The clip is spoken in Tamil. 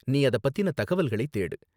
நீ அத பத்தின தகவல்களை தேடு.